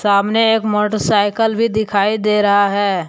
सामने एक मोटरसाइकल भी दिखाई दे रहा है।